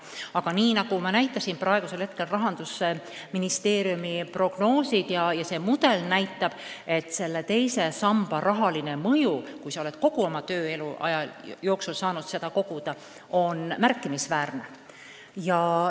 Aga nagu ma ütlesin, Rahandusministeeriumi prognoosid ja see mudel näitab, et teise samba rahaline mõju, kui sa oled kogu oma tööelu jooksul saanud sinna midagi koguda, on märkimisväärne.